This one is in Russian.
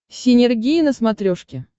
синергия на смотрешке